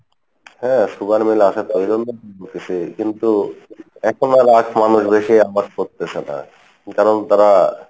হ্যাঁ sugar meal আসে তো ওই জন্য কিন্তু এখন আর আখ মানুষ বেশি আবাদ করতেসে না কারণ তারা,